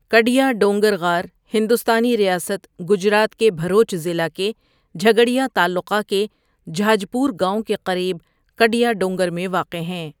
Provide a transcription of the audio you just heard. کڈیا ڈونگر غار ہندوستانی ریاست گجرات کے بھروچ ضلع کے جھگڑیہ تعلقہ کے جھاجپور گاؤں کے قریب کڈیا ڈونگر میں واقع ہیں۔